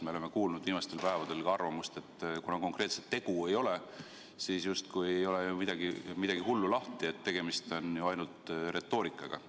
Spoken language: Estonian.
Me oleme kuulnud viimastel päevadel ka arvamust, et kuna konkreetset tegu ei ole, siis justkui ei ole ju midagi hullu lahti, tegemist on ainult retoorikaga.